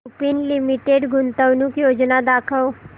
Lupin limited गुंतवणूक योजना दाखव